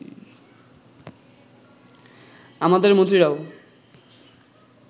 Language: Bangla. আমাদের মন্ত্রীরাও